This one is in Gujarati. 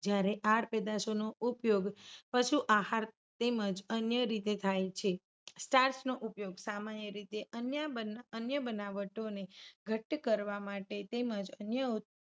જ્યારે આડ પેદાશોનો ઉપયોગ પશુ આહાર તેમજ અન્ય રીતે થાય છે. starch નો ઉપયોગ સામાન્ય રીતે અન્ય બનાવ- અન્ય બનાવટોને ઘટ્ટ કરવા માટે તેમજ અન્ય